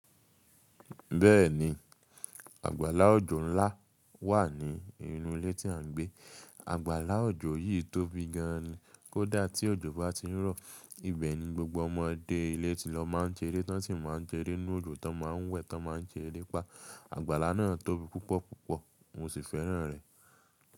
Bẹ́ẹ̀ni, àgbàlá òjò ńlá wà ní inú ilé tí à ń gbé. Àgbàlá òjò yìí tóbi gan an ni. Kódà tí òjò bá ti ń rọ̀, ibẹ̀ ni gbogbo ọmọdé ilé ti lọ máa ń ṣeré tán sì máa ń sẹré nínú òjò tí wọ́n má ń wẹ̀ tí wọ́n má ń ṣe erepá àgbàlá náà tóbi púpọ̀ púpọ̀ mo sì fẹ́ràn rẹ̀.